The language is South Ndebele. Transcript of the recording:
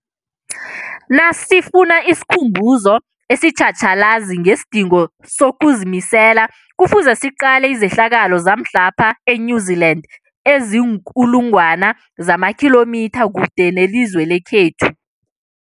Nasifuna isikhumbuzo esitjhatjhalazi ngesidingo sokuzimisela, Kufuze siqale izehlakalo zamhlapha e-New Zealand eziinkulu ngwana zamakhilomitha kude nelizwe lekhethu.